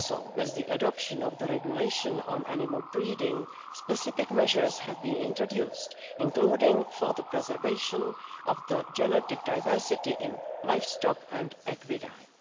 With the adoption of the regulation on animal breeding, specific measures have also been introduced, including for the preservation of the genetic diversity in livestock and equidae.